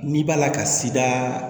N'i b'a la ka sidaa